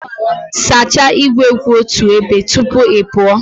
Sachaa igwe kwụ otu ebe tupu ị pụọ